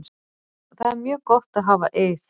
Það er mjög gott að hafa Eið.